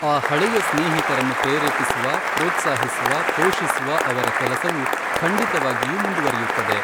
ಆ ಹಳೆಯ ಸ್ನೇಹಿತರನ್ನು ಪ್ರೇರೇಪಿಸುವ, ಪ್ರೋತ್ಸಾಹಿಸುವ ಪೋಷಿಸುವ ಅವರ ಕೆಲಸವು ಖಂಡಿತವಾಗಿಯೂ ಮುಂದುವರಿಯುತ್ತದೆ.